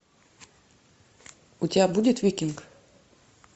у тебя будет викинг